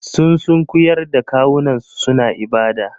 Sun sunkuyar da kawunansu suna ibada.